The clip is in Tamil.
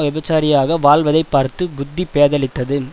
விபச்சாரியாக வாழ்வதை பார்த்து புத்தி பேதலித்து